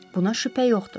Buna şübhə yoxdur.